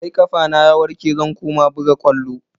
Sai kafana ya warke zan koma buga ƙwallo.